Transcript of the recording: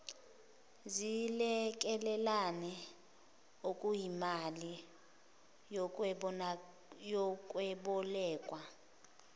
zilekelelane okuyimali yokwebolekwa